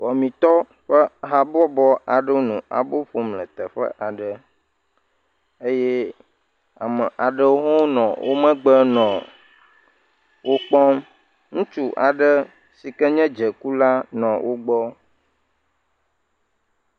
Wɔmitɔwo ƒe habɔbɔ le abo ƒom le teƒe aɖe eye ame aɖewo nɔ womegbe nɔ wokpɔm ŋutsu aɖe sike nye dzekula nɔ wogbɔ